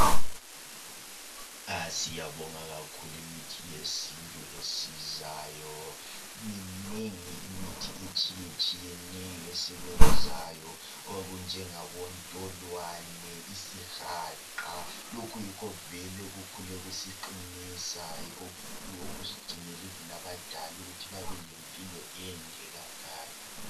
Siyabonga kakhulu imithi yesintu esizayo minengi imithi etshiye tshiyeneyo esebenzayo okunjengabo ntolwane isihaqa lokhu kuyikho vele okukhule kusiqinisa yikho even okusigcinele abadala ukutho babelempilo ende kangaka